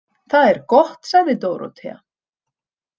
Það er gott, sagði Dórótea.